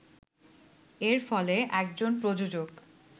এর ফলে একজন প্রযোজক